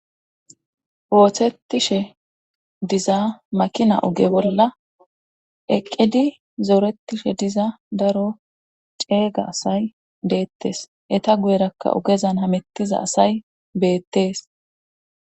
othettishe diza makina oge bolla eqqidi zooretishe diza daro ceeyga asay deettes eta guyerakka ogezan hamettiza asay beettes